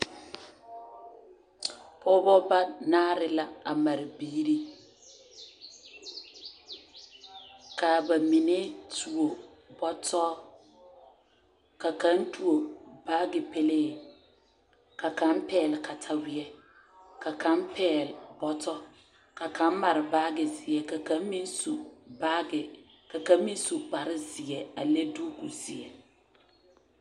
Pogeba ba naare la a mare biiri ka a bamine tuo bɔto ka kaŋ tuo baagi pelee ka kaŋ pɛɛle kataweɛ ka kaŋ pɛɛle bɔto ka kaŋ mare baagi zeɛ ka kaŋ meŋ su baagi ka kaŋ meŋ su kparre zie a leŋ tukuzeɛ.